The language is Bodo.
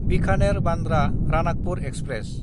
बिखानेर–बान्द्रा रानाकपुर एक्सप्रेस